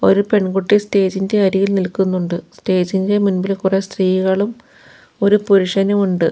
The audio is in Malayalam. ഒരു പെൺകുട്ടി സ്റ്റേജ് ഇന്റെ അരികിൽ നിൽക്കുന്നുണ്ട് സ്റ്റേജ് ഇന്റെ മുൻപിൽ കുറെ സ്ത്രീകളും ഒരു പുരുഷനും ഉണ്ട്.